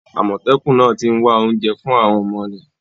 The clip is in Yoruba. Àmọ̀tẹ́kùn náà ti ń wá oúnjẹ fún àwọn ọmọ rẹ̀.